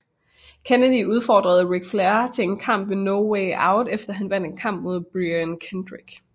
Kennedy udfordrede Ric Flair til en kamp ved No Way Out efter han vandt en kamp mod Brian Kendrick